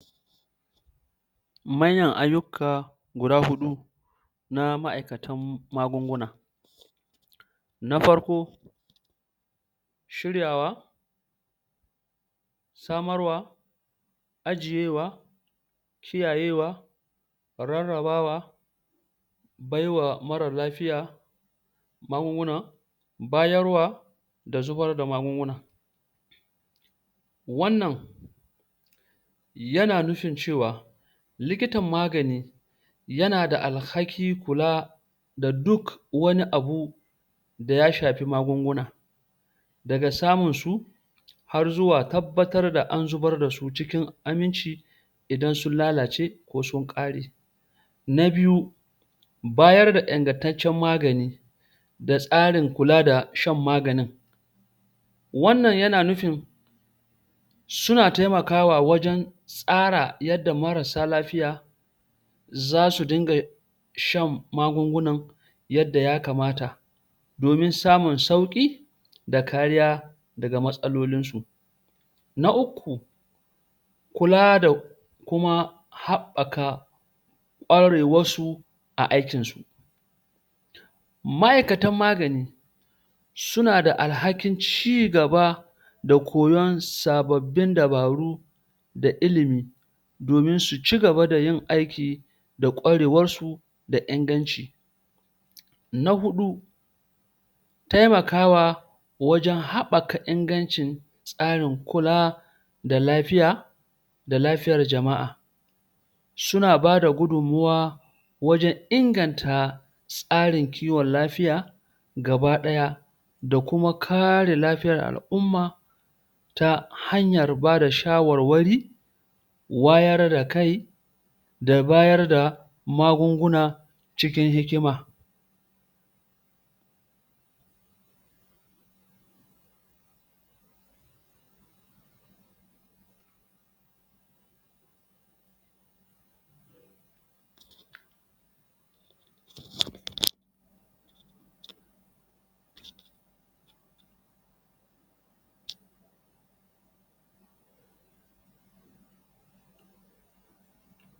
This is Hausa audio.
manyan ayyuka guda huɗu na ma'aikatan magunguna na farko shiryawa samarwa ajiyewa kiyayewa rarrabawa baiwa marar lafiya magunguna bayarwa da zubar da magunguna wannan yana nufin cewa likitan magani yana da alhakin kula da duk wani abu daya shafi magunguna daga samun su harzuwa tabbatar da an zubar dasu cikin aminci idan sun lalace ko sun ƙare na biyu bayar da ingantaccen magani da tsarin kula da shan maganin wannan yana nufin suna taimakawa wajen tsara yanda marasa lafiya zasu dinga shan magungunan yadda ya kamata domin samun sauki da kariya daga matsalolin su na uku kula da kuma haɓɓaka kwarewar su a aikin su ma'aikatan magani suna da alhakin cigaba da koyon sababbin dabaru da ilimi domin su cigaba da yin aiki da kwarewar su da inganci na huɗu taimakawa wajen haɓɓaka ingancin tsarin kula da lafiya da lafiyar jama'a suna bada gudunmuwa wajen inganta tsarin kiwon lafiya gaba ɗaya da kuma kare lafiyar al'umma ta hanyar bada shawarwari wayar da kai da bayarda magunguna cikin hikima?